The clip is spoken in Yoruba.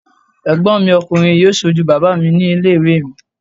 Ẹ̀gbọ́n mi ọkùnrin yóò sojú bàbá mi ní ilé ìwé mi